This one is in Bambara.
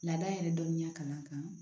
Laada yɛrɛ dɔnniya kan ka